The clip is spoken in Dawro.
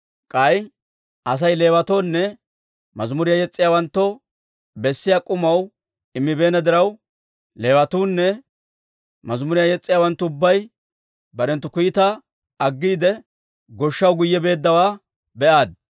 K'ay Asay Leewatoonne mazimuriyaa yes's'iyaawanttoo bessiyaa k'umaw immibeenna diraw, Leewatuunne mazimuriyaa yes's'iyaawanttu ubbay barenttu kiitaa aggiide, goshshaw guyye beeddawaa be'aaddi.